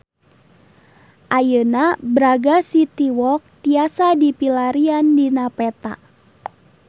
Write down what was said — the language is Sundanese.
Ayeuna Braga City Walk tiasa dipilarian dina peta